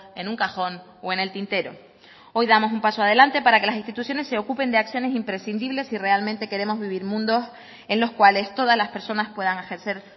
en un cajón o en el tintero hoy damos un paso adelante para que las instituciones se ocupen de acciones imprescindibles si realmente queremos vivir mundos en los cuales todas las personas puedan ejercer